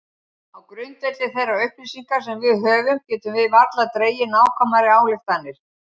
Á grundvelli þeirra upplýsinga sem við höfum getum við varla dregið nákvæmari ályktanir.